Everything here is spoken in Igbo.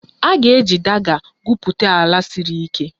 A ga-eji diga gwupụta ala siri ike